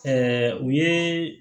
u ye